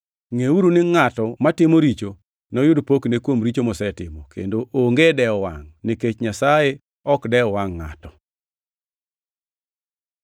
Ngʼeuru ni ngʼato matimo richo, noyud pokne kuom richo mosetimo, kendo onge dewo wangʼ nikech Nyasaye ok dew wangʼ ngʼato.